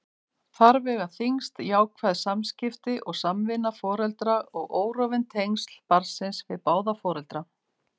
Þar vega þyngst jákvæð samskipti og samvinna foreldra og órofin tengsl barnsins við báða foreldra.